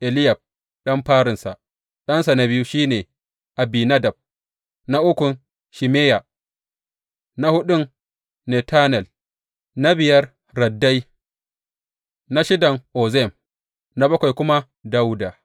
Eliyab ɗan farinsa, ɗansa na biyu shi ne Abinadab, na ukun Shimeya, na huɗun Netanel, na biyar Raddai, na shidan Ozem na bakwai kuma Dawuda.